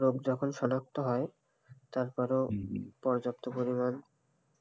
রোগ যখন শনাক্ত হয় তারপরেও পর্যাপ্ত পরিমাণ